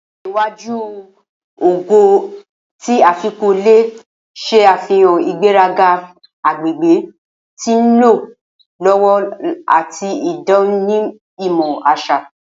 Ojo iwaju Ogo ti Afikpo le ṣe afihan igberaga agbegbe ti nlọ lọwọ ati idanimọ aṣa.